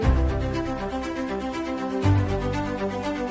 Bilmək istəyirəm ki, nə vaxt çatdırılacaq sifariş?